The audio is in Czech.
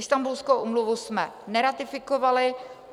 Istanbulskou úmluvu jsme neratifikovali.